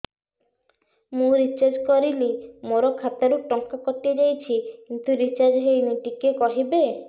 ମୁ ରିଚାର୍ଜ କରିଲି ମୋର ଖାତା ରୁ ଟଙ୍କା କଟି ଯାଇଛି କିନ୍ତୁ ରିଚାର୍ଜ ହେଇନି ଟିକେ କହିବେ